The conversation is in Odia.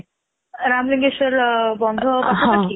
ରାମ କିଶୋର ବନ୍ଧ ପାଖରେ କି?